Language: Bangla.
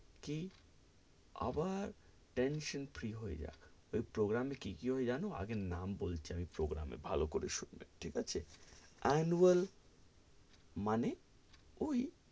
কি আবার tension free হয়ে যায়, ওই program এ কি কি হয় জানো, আগে নাম বলছি আমি program এ ভালো করে শুনবে, ঠিক আছে annual মানে ওই,